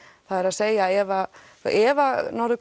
það er að segja ef ef Norður